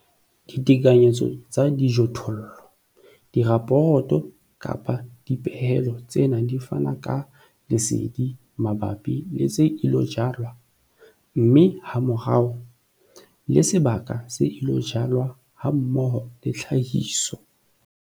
Ditekanyetso tsa dijothollo- Diraporoto kapa dipehelo tsena di fana ka lesedi mabapi le tse ilo jalwa, mme hamorao, le sebaka se ilo jalwa hammoho le tlhahiso.